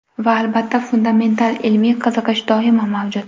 Va albatta, fundamental ilmiy qiziqish doimo mavjud.